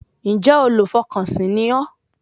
Ǹjẹ́ olùfọkànsìn ni ọ́